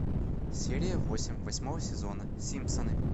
серия восемь восьмого сезона симпсоны